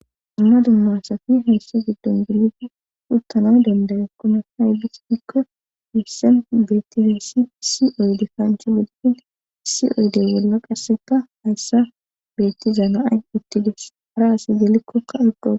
Dumma du masafi hayssa giddon gelida puttanay dandagekkona hawylispikko hissen beettizeessi si oyde kanch woddin sioydy wolla qasseta hayssa beetti zamaay uttides hara asi gelikkokka iqo..